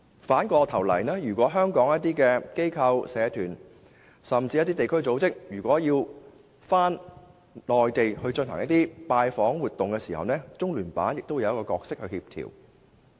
反過來，如果香港的一些機構、社團甚至地區組織要在內地進行拜訪活動的時候，中聯辦亦會扮演協調角色。